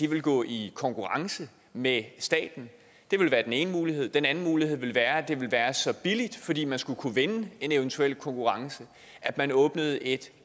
vil gå i konkurrence med staten det ville være den ene mulighed den anden mulighed ville være at det ville være så billigt fordi man skulle kunne vinde en eventuel konkurrence at man åbnede et